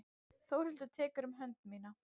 Þórhildur tekur um hönd mína.